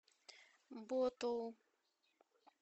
ботоу